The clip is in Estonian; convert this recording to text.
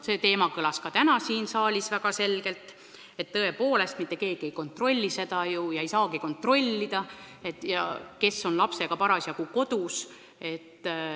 See teema kõlas ka täna siin saalis väga selgelt: tõepoolest, mitte keegi ei kontrolli seda ega saagi kontrollida, kes on lapsega parasjagu kodus.